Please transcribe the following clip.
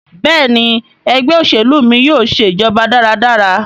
Béèni Ẹgbẹ́ òṣèlú mí yóò ṣe ìjọba dára dára.